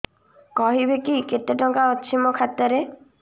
କହିବେକି କେତେ ଟଙ୍କା ଅଛି ମୋ ଖାତା ରେ